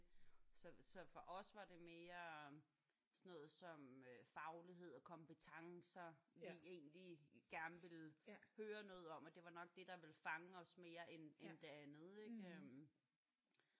Så så for os var det mere sådan noget som øh faglighed og kompetencer vi egentlig gerne ville høre noget om og det var nok det der ville fange os mere end det andet ik?